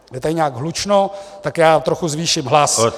Je tady nějak hlučno, tak já troch zvýším hlas.